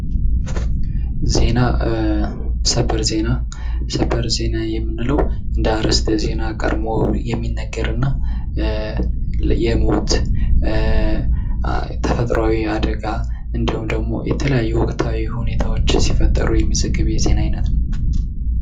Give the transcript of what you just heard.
ዜና:- ሰበር ዜና የምንለው እንደ አርዕስተ ዜና ቀድሞ የሚነገር እና የሞት፣ ተፈጥሯዊ አደጋ እንዲሁም ደግሞ ወቅታዊ ሁኔታዎች ሲፈጠሩ የተዘገበ የዜና አይነት ነው።